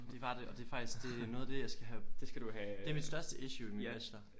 Det var det og det er faktisk det noget af det jeg skal have. Det er mit største issue i min bachelor